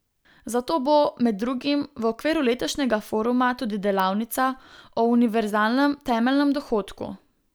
Zato bo, med drugim, v okviru letošnjega foruma tudi delavnica o univerzalnem temeljnem dohodku.